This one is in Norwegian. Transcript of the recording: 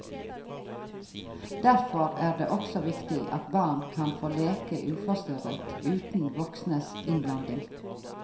Derfor er det også viktig at barn kan få leke uforstyrret uten voksnes innblanding.